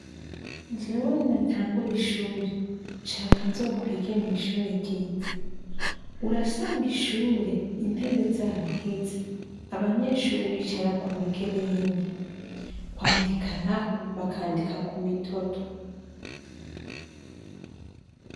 Jewe ninatangure ishure. Nshaka nzokwige kw'ishure ryiza. Urasanga ishure intebe zaraheze abanyeshure bicara Ku migereni, kwandika naho bakandika Kumitoto.